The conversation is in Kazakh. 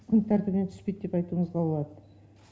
күн тәртібінен түспейді деп айтуымызға болады